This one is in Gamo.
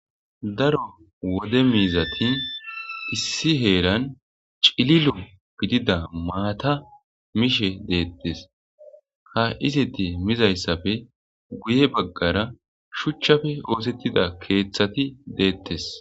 Daro wole miizati issi heeran cililo gidida mata mishe de'etessi. Ha izeti mizayssappe guye baggara shuchchappe oothetida keethati deetessi.